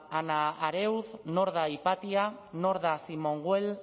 hanna arendt nor da hipatia nor da simone weil